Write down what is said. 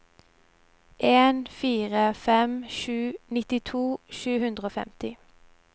en fire fem sju nittito sju hundre og femti